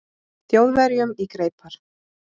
Þjóðverjum í greipar.